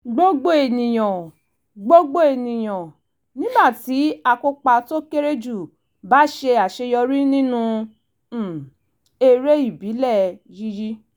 gbogbo ènìyàn gbogbo ènìyàn nígbà tí akópa tó kéré jù bá ṣe àṣeyọrí nínú um eré ìbílẹ̀ yíyí